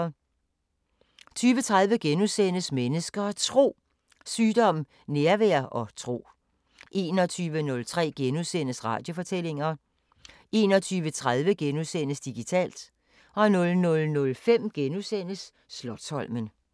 20:30: Mennesker og Tro: Sygdom, nærvær og tro * 21:03: Radiofortællinger * 21:30: Digitalt * 00:05: Slotsholmen *